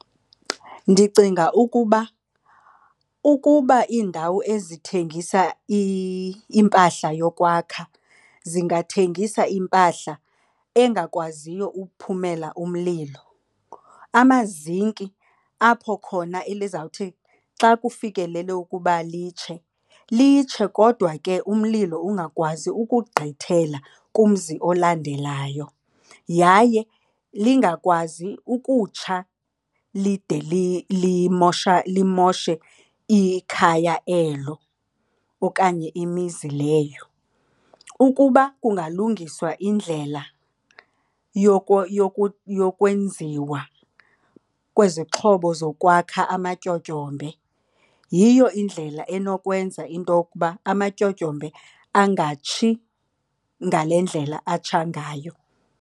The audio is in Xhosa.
Ndicinga ukuba ukuba iindawo ezithengisa impahla yokwakha zingathengisa impahla engakwaziyo ukuphumela umlilo. Amazinki apho khona elizawuthi xa kufikelele ukuba litshe, litshe kodwa ke umlilo ungakwazi ukugqithela kumzi olandelayo yaye lingakwazi ukutsha lide limoshe ikhaya elo okanye imizi leyo. Ukuba kungalungiswa indlela yokwenziwa kwezixhobo zokwakha amatyotyombe yiyo indlela enokwenza into yokuba amatyotyombe angatshi ngale ndlela atsha ngayo.